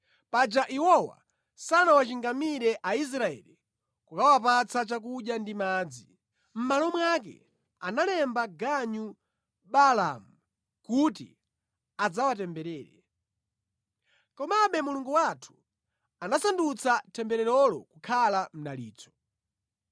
Paja iwowa sanawachingamire Aisraeli kukawapatsa chakudya ndi madzi. Mʼmalo mwake analemba ganyu Baalamu kuti adzawatemberere. Komabe Mulungu wathu anasandutsa tembererolo kukhala mdalitso.